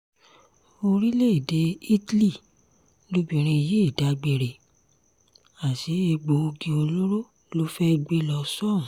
orílẹ̀‐èdè italy lobìnrin yìí dágbére àsè egbòogi olóró ló fẹ́ẹ́ gbé lọ sóhun